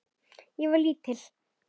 Ég var lítil.